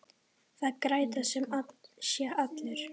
Það græða sem sé allir.